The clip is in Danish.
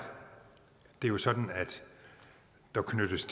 det jo sådan at der knyttes